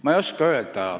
Ma ei tea, mida öelda.